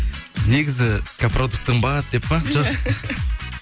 негізі продукта қымбат деп па жоқ